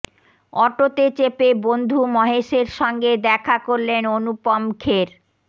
অটোতে চেপে বন্ধু মহেশের সঙ্গে দেখা করলেন অনুপম খের